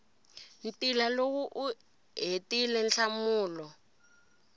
ntila loko u hetile nhlamulo